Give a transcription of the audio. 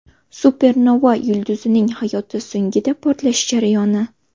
Supernova yulduzning hayoti so‘ngida portlashi jarayoni.